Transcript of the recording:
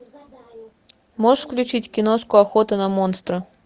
можешь включить киношку охота на монстра